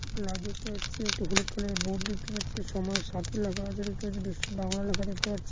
Plug দেখতে পাচ্ছি একটি হলুদ কালার -এর বোর্ড দেখতে পাচ্ছি সময় সাথী লেখা দেখতে পাচ্ছি বাংলা লেখা দেখতে পাচ্ছি।